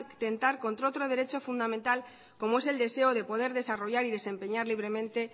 atentar contra otro derecho fundamental como es el deseo de poder desarrollar y desempeñar libremente